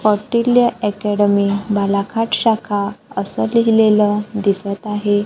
Academy Balaghat शाखा असं लिहिलेलं दिसतं आहे.